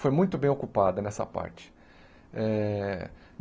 Foi muito bem ocupada nessa parte. Eh